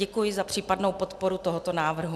Děkuji za případnou podporu tohoto návrhu.